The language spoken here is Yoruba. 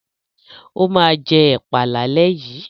Ó máa jẹ ẹ̀pà lálẹ́ yìí.